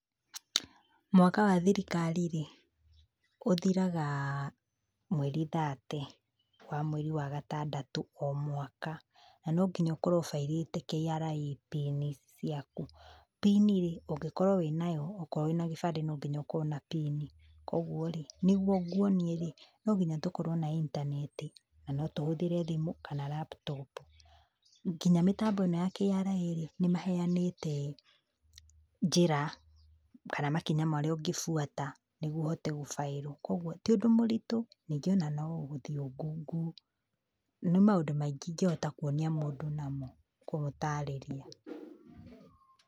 Mwaka wa thirikari-rĩ, ũthiraga, mweri thate, wa mweri wa gatandatũ o mwaka. Na no nginya ũkorwo ũ file ĩte KRA pini ciaku. Pini-rĩ, ũngĩkorwo wĩ nayo, okorwo wĩna gĩbandĩ no nginya ũkorwo na pini. Kuoguo-rĩ, nĩguo nguonie-rĩ, no nginya tũkorwo na intaneti, na no tũhũthĩre thimũ kana laptop. Nginya mĩtambo ĩno ya KRA-rĩ nĩmaheanĩte njĩra, kana makinya marĩa ũngĩbuata nĩguo ũhote gũ file. Kuoguo, ti ũndũ mũritũ, ningĩ ona no ũthiĩ ũ google. Nĩ maũndũ maingĩ ingĩhota kuonia mũndũ namo, kũmũtarĩria.